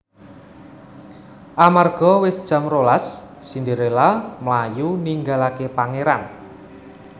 Amarga wis jam rolas Cinderella mlayu ninggalaké pangèran